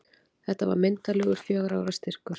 Þetta var myndarlegur fjögurra ára styrkur.